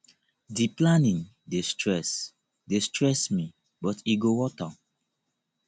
di planning dey stress dey stress me but e go worth am